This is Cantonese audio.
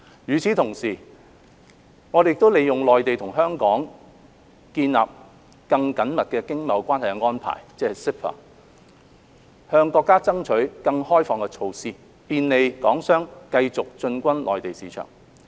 與此同時，我們亦利用《內地與香港關於建立更緊密經貿關係的安排》，向國家爭取更開放的措施，便利港商繼續進軍內地市場。